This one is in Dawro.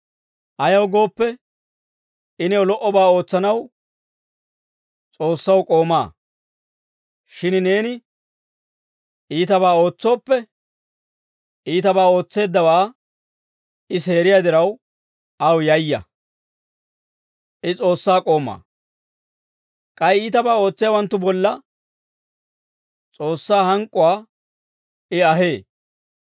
Ayaw gooppe, I new lo"obaa ootsanaw, S'oossaw k'ooma. Shin neeni iitabaa ootsooppe, iitabaa ootseeddawaa I seeriyaa diraw, aw yayya; I S'oossaa k'oomaa. K'ay iitabaa ootsiyaawanttu bolla S'oossaa hank'k'uwaa I ahee.